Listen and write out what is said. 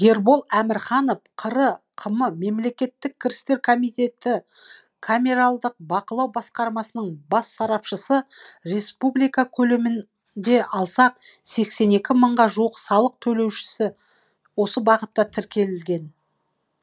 ербол әмірханов қр қм мемлекеттік кірістер комитеті камералдық бақылау басқармасының бас сарапшысы республика көлемінде алсақ сексен екі мыңға жуық салық төлеуші осы бағытта тіркелген